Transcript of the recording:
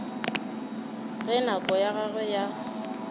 ge nako ya gagwe ya